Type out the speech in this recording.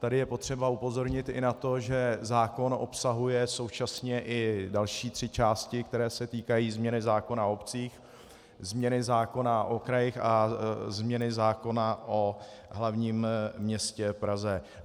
Tady je potřeba upozornit i na to, že zákon obsahuje současně i další tři části, které se týkají změny zákona o obcích, změny zákona o krajích a změny zákona o hlavním městě Praze.